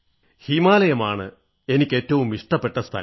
ഹിമാലയമാണ് എനിക്ക് എന്നും ഏറ്റവും ഇഷ്ടപ്പെട്ട സ്ഥലം